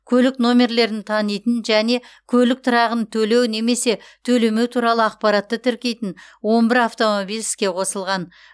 көлік нөмірлерін танитын және көлік тұрағын төлеу немесе төлемеу туралы ақпаратты тіркейтін он бір автомобиль іске қосылған